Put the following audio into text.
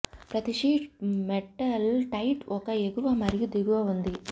ప్రతి sheet metal tile ఒక ఎగువ మరియు దిగువ ఉంది